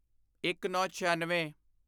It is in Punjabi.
ਇੱਕਨੌਂਛਿਆਨਵੇਂ